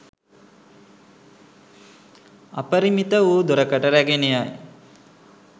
අපරිමිත වූ දුරකට රැගෙන යයි.